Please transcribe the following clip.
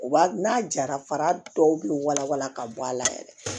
U b'a n'a jara fara dɔw be wala wala ka bɔ a la yɛrɛ